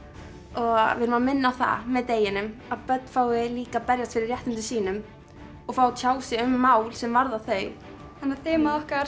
og við erum að minna á það með deginum að börn fái líka að berjast fyrir réttindum sínum og fái að tjá sig um mál sem varða þau þannig þemað okkar